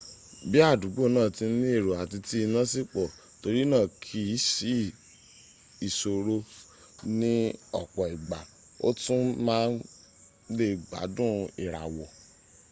bí àdúgbò náà ti ní èrò àti tí iná sì pọ̀ torí náà kìí sí ìṣòro ní ọ̀pọ̀ ìgbà o tún máa lè gbádùn ìràwọ̀